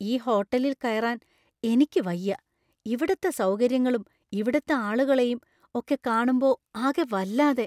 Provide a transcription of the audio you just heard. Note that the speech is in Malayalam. ഈ ഹോട്ടലില്‍ കയറാൻ എനിക്ക് വയ്യാ. ഇവിടത്തെ സൗകര്യങ്ങളും ഇവിടുത്തെ ആളുകളെയും ഒക്കെ കാണുമ്പോ അകെ വല്ലാതെ.